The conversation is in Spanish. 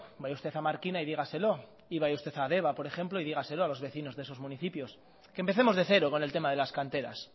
vaya usted a markina y dígaselo y vaya usted a deba por ejemplo y dígaselo a los vecinos de estos municipios que empecemos de cero con el tema de las canteras